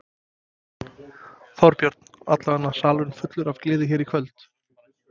Þorbjörn: Allavega salurinn fullur af gleði hér í kvöld?